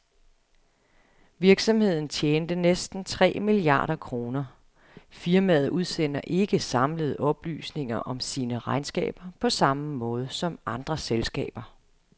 Virksomheden tjente næsten tre milliarder kroner. Firmaet udsender ikke samlede oplysninger om sine regnskaber på samme måde som andre selskaber.